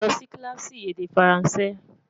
lọ Si kilaasi èdè faransé